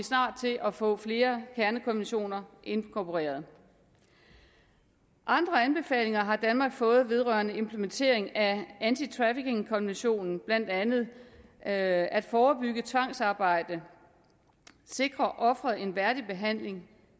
snart til at få flere kernekonventioner inkorporeret andre anbefalinger har danmark fået vedrørende implementering af antitraffickingkonventionen blandt andet at at forebygge tvangsarbejde sikre offeret en værdig behandling